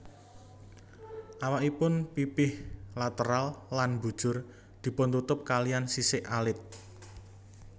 Awakipun pipih lateral lan mbujur dipuntutup kaliyan sisik alit